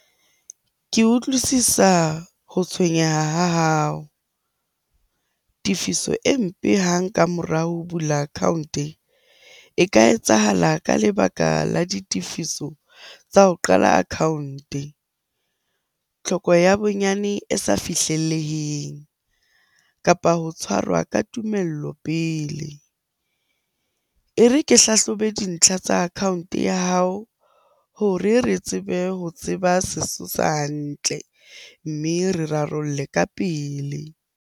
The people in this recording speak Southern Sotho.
Ke utlwisisa ho tshwenyeha ha hao. Tefiso e mpe hang ka mora ho bula account-e e ka etsahala ka lebaka la ditefiso tsa ho qala account-e. Tlhoko ya bonyane e sa fihlelleng, kapa ho tshwarwa ka tumelo pele. E re ke hlahlobe dintlha tsa account-e ya hao hore re tsebe ho tseba sesosa hantle, mme re rarolle ka pele.